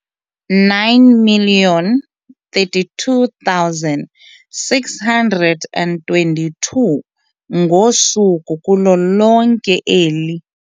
9 032 622 ngosuku kulo lonke eli.